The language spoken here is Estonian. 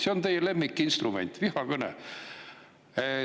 See on teie lemmikinstrument – vihakõne.